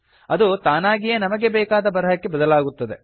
ಅದು ತಾನಾಗಿಯೇ ನಮಗೆ ಬೇಕಾದ ಬರಹಕ್ಕೆ ಬದಲಾಗುತ್ತದೆ